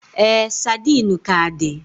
Ee, sardine ka di.